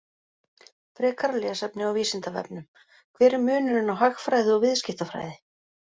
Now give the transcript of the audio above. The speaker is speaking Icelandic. Frekara lesefni á Vísindavefnum: Hver er munurinn á hagfræði og viðskiptafræði?